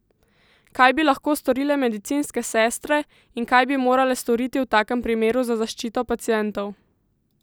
Kaj bi lahko storile medicinske sestre in kaj bi morale storiti v takem primeru za zaščito pacientov?